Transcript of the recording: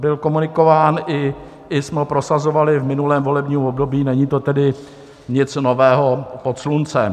Byl komunikován i jsme ho prosazovali v minulém volebním období, není to tedy nic nového pod sluncem.